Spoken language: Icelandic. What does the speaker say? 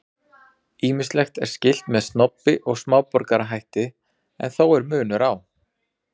Ýmislegt er skylt með snobbi og smáborgarahætti en þó er munur á.